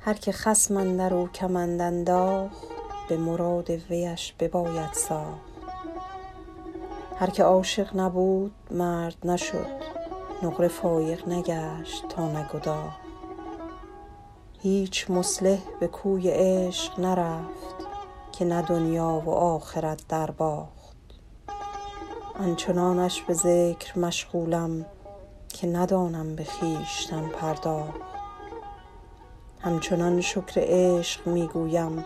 هر که خصم اندر او کمند انداخت به مراد ویش بباید ساخت هر که عاشق نبود مرد نشد نقره فایق نگشت تا نگداخت هیچ مصلح به کوی عشق نرفت که نه دنیا و آخرت درباخت آن چنانش به ذکر مشغولم که ندانم به خویشتن پرداخت همچنان شکر عشق می گویم